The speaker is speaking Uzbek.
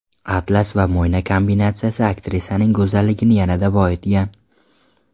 Atlas va mo‘yna kombinatsiyasi aktrisaning go‘zalligini yanada boyitgan.